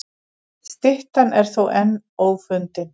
Styttan er þó enn ófundin.